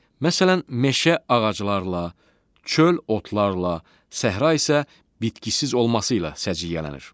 Məsələn, meşə ağaclarla, çöl otlarla, səhra isə bitkisiz olması ilə səciyyələnir.